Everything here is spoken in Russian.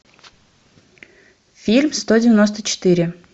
фильм сто девяносто четыре